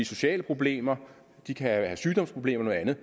sociale problemer de kan have sygdomsproblemer eller